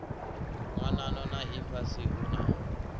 nyanano na ifhasi hu na